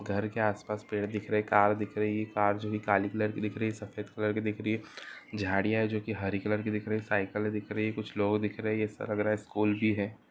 घर के आस-पास पेड़ दिख रहे हैं कार दिख रही कार जो कि काली कलर की दिख रही है सफ़ेद कलर की दिख रही है झाड़ियाँ है जो कि हरी कलर की दिख रही है साइकल दिख रही है कुछ लोग दिख रहे हैं ऐसा लग रहा स्कूल ही है।